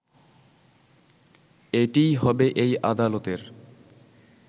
এটিই হবে এই আদালতের